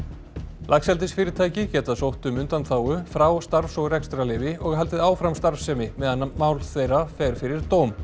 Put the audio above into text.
laxeldisfyrirtæki geta sótt um undanþágu frá starfs og rekstrarleyfi og haldið áfram starfsemi meðan mál þeirra fer fyrir dóm